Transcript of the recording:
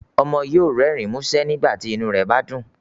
Ọmọ yóò rẹrin musẹ nígbàtí inu rẹ bá dún